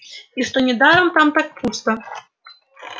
и что недаром там так пусто